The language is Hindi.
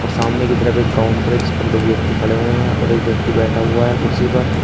और सामने की तरफ एक काउंटर है जिस पर दो व्यक्ति खड़े हुए हैं और एक व्यक्ति बैठा हुआ है कुर्सी पर।